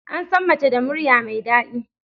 Ansan Mace da murya mai dadi